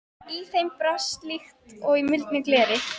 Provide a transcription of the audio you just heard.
Í þeim brast líkt og í muldu gleri.